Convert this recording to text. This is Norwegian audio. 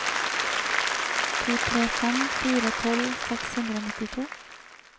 to tre fem fire tolv seks hundre og nittito